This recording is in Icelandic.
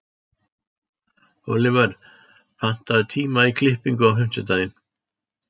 Olivert, pantaðu tíma í klippingu á fimmtudaginn.